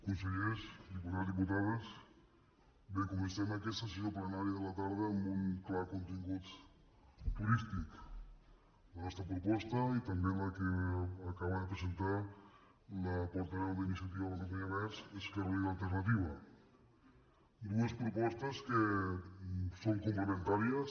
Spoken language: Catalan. consellers diputats diputades bé comencem aquesta sessió plenària de la tarda amb un clar contingut turístic la nostra proposta i també la que acaba de presentar la portaveu d’iniciativa per catalunya verds esquerra unida i alternativa dues propostes que són complementàries